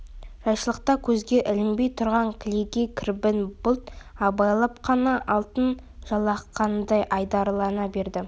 жайшылықта көзге ілінбей тұрған кілегей кірбің бұлт абайлап қана алтын жалатқандай айдарлана берді